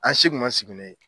An si kun ma sigi na ye.